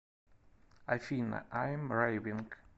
афина айм рэйвинг